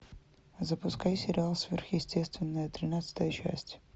запускай сериал сверхъестественное тринадцатая часть